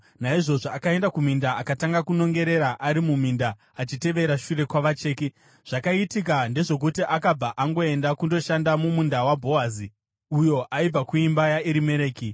Naizvozvo akaenda kuminda akatanga kunongera ari muminda achitevera shure kwavacheki. Zvakaitika ndezvokuti akabva angoenda kundoshanda mumunda waBhoazi, uyo aibva kuimba yaErimereki.